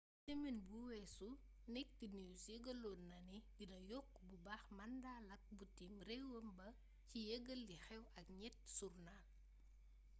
semen bu wessu naked news yegalon na né dina yokk bu baax mandat lak butim rewam ba ci yegal liy xew ak niet sournal